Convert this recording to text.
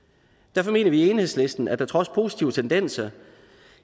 derfor mener vi i enhedslisten at der trods positive tendenser